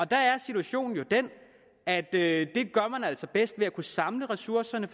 der er situationen jo den at det gør man altså bedst ved at samle ressourcerne